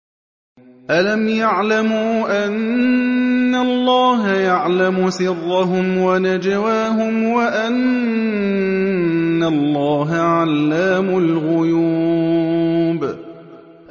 أَلَمْ يَعْلَمُوا أَنَّ اللَّهَ يَعْلَمُ سِرَّهُمْ وَنَجْوَاهُمْ وَأَنَّ اللَّهَ عَلَّامُ الْغُيُوبِ